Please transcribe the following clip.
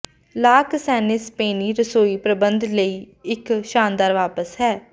ਲਾ ਕਸੇਨਾ ਸਪੇਨੀ ਰਸੋਈ ਪ੍ਰਬੰਧ ਲਈ ਇੱਕ ਸ਼ਾਨਦਾਰ ਵਾਪਸ ਹੈ